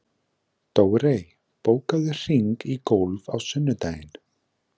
Dórey, bókaðu hring í golf á sunnudaginn.